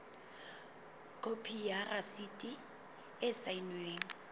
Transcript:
khopi ya rasiti e saennweng